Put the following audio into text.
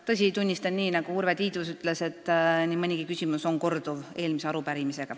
Tõsi, tunnistan, nagu Urve Tiidus ütles, et nii mõnigi küsimus kordub võrreldes eelmise arupärimisega.